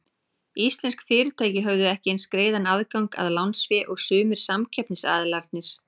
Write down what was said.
Íslensk fyrirtæki höfðu ekki eins greiðan aðgang að lánsfé og sumir samkeppnisaðilarnir.